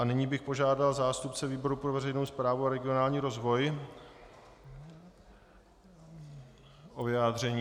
A nyní bych požádal zástupce výboru pro veřejnou správu a regionální rozvoj o vyjádření.